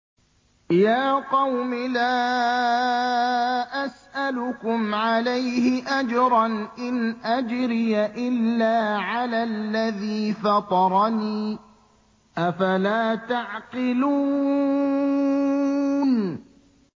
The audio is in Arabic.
يَا قَوْمِ لَا أَسْأَلُكُمْ عَلَيْهِ أَجْرًا ۖ إِنْ أَجْرِيَ إِلَّا عَلَى الَّذِي فَطَرَنِي ۚ أَفَلَا تَعْقِلُونَ